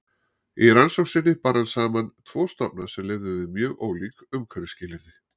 Í rannsókn sinni bar hann saman tvo stofna sem lifðu við mjög ólík umhverfisskilyrði.